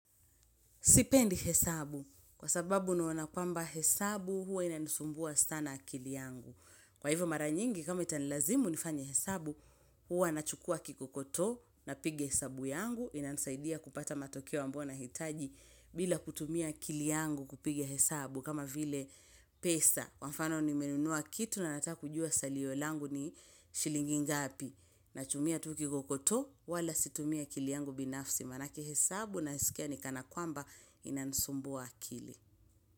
Sipendi hesabu kwa sababu naona kwamba hesabu huwa inanisumbua sana akili yangu. Kwa hivyo mara nyingi kama itanilazimu nifanye hesabu huwa nachukua kikokoto na pigia hesabu yangu inanisaidia kupata matokeo ambayo nahitaji bila kutumia akili yangu kupigia hesabu kama vile pesa, kwa mfano nimenunua kitu na nataka kujua salio langu ni shilingi ngapi. Nachumia tukikokoto wala situmi akili yangu binafsi manake hesabu nasikia ni kana kwamba inanisumbua kili.